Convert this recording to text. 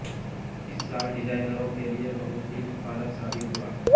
इस साल डिजाइनरों के लिए बहुत ही उत्पादक साबित हुआ